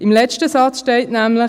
Im letzten Satz steht nämlich: